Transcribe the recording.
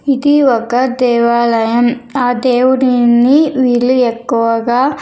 ఇది ఒక దేవాలయం ఆ దేవుడిని వీళ్ళు ఎక్కువగా.